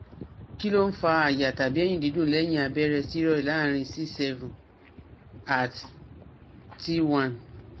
Kí ló ń fa aàyà tàbí ẹ̀yìn dídùn lẹ́yìn abẹ́rẹ́ steroid láàrin c seven at t one